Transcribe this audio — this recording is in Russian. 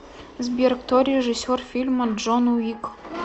сбер кто режиссер фильма джон уик